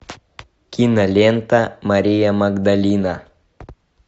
кинолента мария магдалина